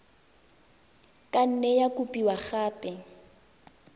ka nne ya kopiwa gape